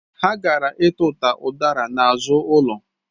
Ha gara ituta udara n'azụ ụlọ